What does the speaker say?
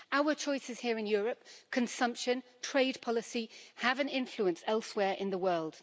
Our choices here in Europe consumption, trade policy have an influence elsewhere in the world.